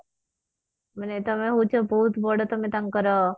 ମାନେ ତମେ ହଉଛ ବହୁତ ବଡ ତମେ ତାଙ୍କର